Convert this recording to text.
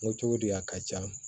Moto di a ka ca